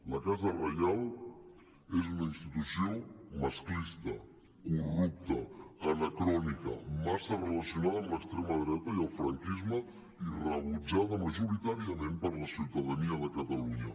la casa reial és una institució masclista corrupta anacrònica massa relacionada amb l’extrema dreta i el franquisme i rebutjada majoritàriament per la ciutadania de catalunya